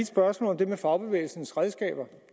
spørgsmål om det med fagbevægelsens redskaber